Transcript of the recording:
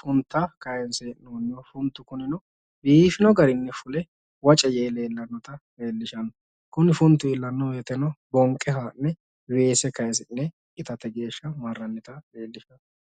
funta kayiinse hee'nnonniho. Funtu kunino biifino garinni fule waca yee leellannota leellishanno. Kuni funtuno fulanno woyiiteno bonqe haa'ne weese kaayisi'ne itate geeshsha marrannita leellishano.